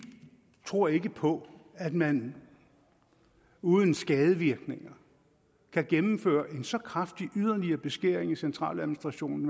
tror ikke på at man uden skadevirkninger kan gennemføre en så kraftig yderligere beskæring i centraladministrationen